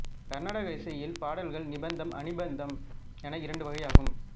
கர்நாடக இசையில் பாடல்கள் நிபந்தம் அநிபந்தம் என இரண்டு வகையாகும்